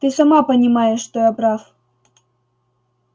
ты сама понимаешь что я прав